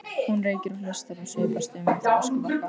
Hún reykir og hlustar og svipast um eftir öskubakka.